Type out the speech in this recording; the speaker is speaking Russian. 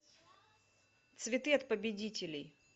цветы от победителей